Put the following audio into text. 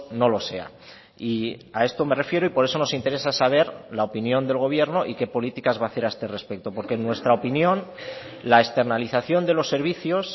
no lo sea y a esto me refiero y por eso nos interesa saber la opinión del gobierno y qué políticas va a hacer a este respecto porque en nuestra opinión la externalizacion de los servicios